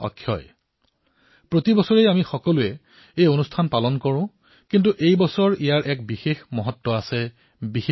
নিজৰ ঘৰত প্ৰতি বছৰে প্ৰত্যেকে এই পৰ্ব পালন কৰে কিন্তু এইবাৰৰ পৰ্বটোৰ এক বিশেষ মহত্ব আছে